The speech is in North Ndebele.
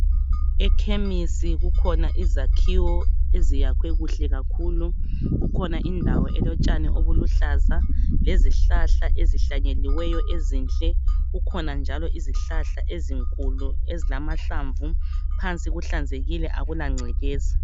Ekhemisi kukhona izakhiwo eziyakhwe kuhle kakhulu, ikhona indawo elotshani obuluhlaza lezihlahla ezihlanyeliweyo ezinhle kukhona njalo izihlahla ezinkulu ezilamahlamvu phansi kuhlanzekile akula ngcekeza.